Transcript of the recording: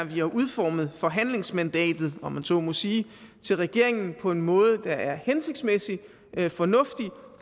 vi har udformet forhandlingsmandatet om man så må sige til regeringen på en måde der er hensigtsmæssigt fornuftig